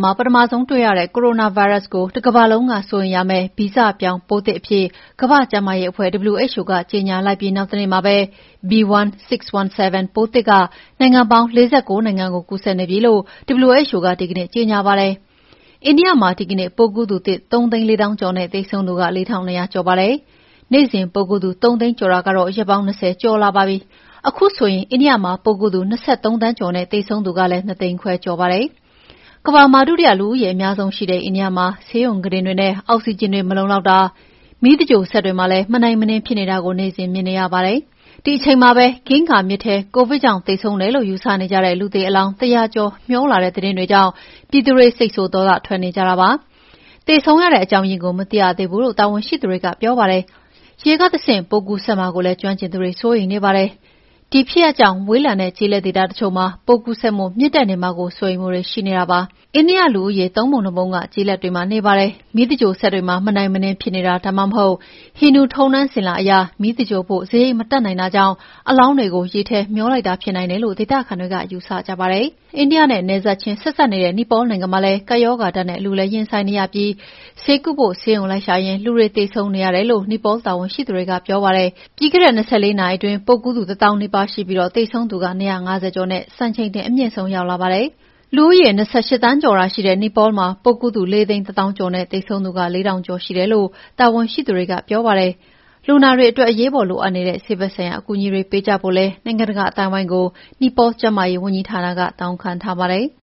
မှာ ပထမဆုံး တွေ့ရတဲ့ ကိုရိုနာဗိုင်းရပ်စ်ကို တကမ္ဘာလုံး စိုးရိမ်ရမယ့် မျိုးဗီဇပြောင်းပိုးသစ်အဖြစ် ကမ္ဘာ့ကျန်းမာရေးအဖွဲ့ WHO က ကြေငြာလိုက်ပြီး နောက်တနေ့မှာပဲ B.1.617 ပိုးသစ်က နိုင်ငံပေါင်း ၄၉ နိုင်ငံကို ကူးစက်နေပြီလို့ WHO ကဒီကနေ့ကြေငြာပါတယ်။ အိန္ဒိယမှာ ဒီကနေ့ပိုးကူးသူသစ် ၃၄၀,၀၀၀ ကျော်နဲ့သေဆုံးသူ ၄၂,၀၀၀ ကျော်ရှိပါတယ်။ နေ့စဉ်ပိုးကူးသူ ၃၀၀,၀၀၀ ကျော်တာ ရက်ပေါင်း ၂၀ ကျော်လာပါပြီ။ ခုဆိုရင်အိန္ဒိယမှာပိုးကူးသူ ၂၃ သန်းကျော်နဲ့ သေဆုံးသူကလည်း ၂၅၀,၀၀၀ ကျော်ပါတယ်။ ကမ္ဘာမှာ ဒုတိယလူဦးရေအများဆုံး ရှိတဲ့အိန္ဒိယမှာ ဆေးရုံကုတင်တွေနဲ့ အောက်ဆီဂျင်တွေ မလုံလောက်တာ၊ မီးသင်္ဂြိုလ်စက်တွေမှာလည်း မနိုင်မနင်းဖြစ်နေတာကို နေ့စဉ်မြင်နေရပါတယ်။ ဒီအချိန်မှာပဲ ဂင်္ဂါမြစ်ထဲ ကိုဗစ်ကြောင့် သေဆုံးတယ်လို့ ယူဆနေကြတဲ့ လူသေအလောင်း ၁၀၀ ကျော်မေ ျှာလာတဲ့သတင်းတွေကြောင့် ပြည်သူတွေ စိတ်ဆိုးဒေါသထွက်လာကြတာပါ။ သေဆုံးရတဲ့အကြောင်းရင်းကို မသိရသေးဘူးလို့ တာဝန်ရှိသူတွေကပြောပါတယ်။ ရေကတဆင့် ပိုးကူးစက်မှာကိုလည်း ကျွမ်းကျင်သူတွေ စိုးရိမ်နေပါတယ်။ ဒီဖြစ်ရပ်တွေကြောင့် ဝေးလံတဲ့ ကျေးလက်ဒေသတချို့မှာ ပိုးကူးစက်မှုမြင့်တက်နေမှာကို စိုးရိမ်မှုတွေရှိနေပါတယ်။ အိန္ဒိယလူဦးရေ ၃ ပုံ ၂ ပုံက ကျေးလက်တွေမှာနေကြပါတယ်။ မီးသင်္ဂြိုလ်စက်တွေမှာ မနိုင်မနင်းဖြစ်နေတာ ဒါမှမဟုတ် ဟိန္ဒူထုံးတမ်း အစဉ်အလာအရ မီးသင်္ဂြိုလ်ဖို့ စရိတ်မတတ်နိုင်တာကြောင့် အလောင်းတွေကို ရေထဲမေ ျှာလိုက်တာဖြစ်နိုင်တယ်လို့ ဒေသခံတွေက ယူဆကြပါတယ်။ အိန္ဒိယနဲ့ နယ်ချင်းစပ်နေတဲ့ နီပေါလ်နိုင်ငံမှာလည်း ကပ်ရောဂါဒဏ်နဲ့ အလူးအလဲရင်ဆိုင်နေရပြီး ဆေးကုဖို့ ဆေးရုံလိုက်ရှာရင်း လူတွေသေဆုံးနေရတယ်လို့ နီပေါလ်တာဝန်ရှိသူတွေကပြောပါတယ်။ ပြီးခဲ့တဲ့ ၂၄ နာရီအတွင်း ပိုးကူးသူ ၁၀,၀၀၀ နီးပါးရှိပြီး သေဆုံးသူက ၂၅၀ကျော်နဲ့ စံချိန်တင် အမြင့်ဆုံးရောက်လာပါတယ်။ လူဦးရေ ၂၈ သန်းကျော်သာရှိတဲ့နီပေါလ်မှာ ပိုးကူူးသူ ၄၁၀,၀၀၀ ကျော်နဲ့သေဆုံးသူ ၄,၀၀၀ ကျော်ရှိတယ်လို့ တာဝန်ရှသူတွေကပြောပါတယ်။ လူနာတွေအတွက်အရေးပေါ် လိုအပ်နေတဲ့ဆေးဖက်ဆိုင်ရာအကူအညီတွေပေးကြဖို့ နိုင်ငံတကာအသိုင်းအဝိုင်းကို နီပေါလ်ကျန်းမာရေးဝန်ကြီးဌာနက တောင်းခံထားပါတယ်။